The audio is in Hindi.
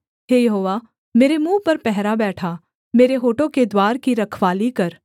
हे यहोवा मेरे मुँह पर पहरा बैठा मेरे होठों के द्वार की रखवाली कर